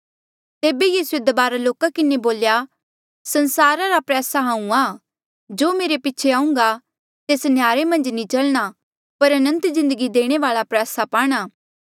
तेबे यीसूए दबारा लोका किन्हें बोल्या संसारा रा प्रयासा हांऊँ आं जो मेरे पीछे आहुंघा तेस नह्यारे मन्झ नी चलणा पर अनंत जिन्दगी देणे वाल्आ प्रयासा पाणा